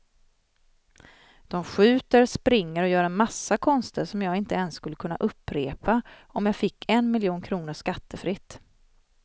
De skjuter, springer och gör en massa konster som jag inte ens skulle kunna upprepa om jag fick en miljon kronor skattefritt.